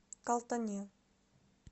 калтане